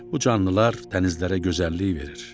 Bu canlılar dənizlərə gözəllik verir.